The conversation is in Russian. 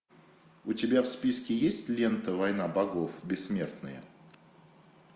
у тебя в списке есть лента война богов бессмертные